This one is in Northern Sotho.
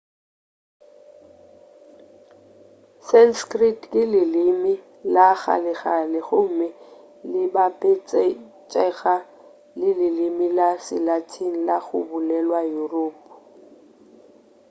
sanskrit ke leleme la kgalekgale gomme le bapetšega le leleme la se-latin la go bolelwa yuropa